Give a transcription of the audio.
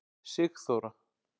Sigþóra